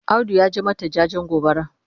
Audu ya je mata jajen gobara.